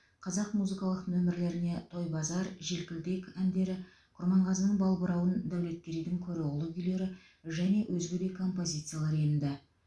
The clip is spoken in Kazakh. қазақ музыкалық номерлеріне тойбазар желкілдек әндері құрманғазының балбырауын дәулеткерейдің көроғлы күйлері және өзге де композициялар енді